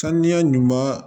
Saniya ɲuman